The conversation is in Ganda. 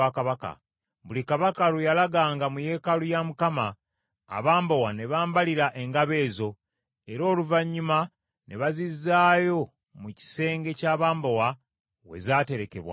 Buli Kabaka lwe yalaganga mu yeekaalu ya Mukama , abambowa ne bambalira engabo ezo, era Oluvannyuma ne bazizaayo mu kisenge ky’abambowa we zaaterekebwanga.